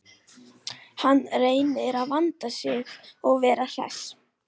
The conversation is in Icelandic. Hann reynir að vanda sig og vera hress.